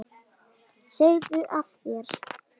Segðu af þér!